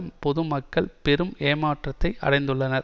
பொது மக்கள் பெரும் ஏமாற்றத்தை அடைந்துள்ளனர்